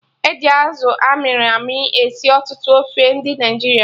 E ji Azụ amịrị amị esi ọtụtụ ofe ndị Naịjirịa